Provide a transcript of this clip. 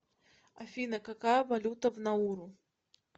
афина какая валюта в науру